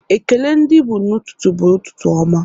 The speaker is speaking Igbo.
Ekele ndị Igbo n'ụtụtụ bụ ụtụtụ ọma